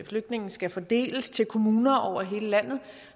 flygtninge skal fordeles til kommuner over hele landet